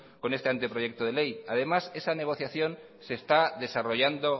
con este anteproyecto de ley además esa negociación se está desarrollando